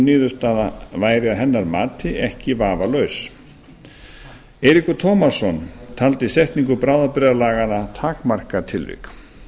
niðurstaða væri að hennar mati ekki vafalaus eiríkur tómasson taldi setningu bráðabirgðalaganna takmarkatilvik